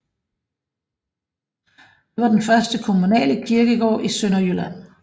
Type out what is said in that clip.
Det var den første kommunale kirkegård i Sønderjylland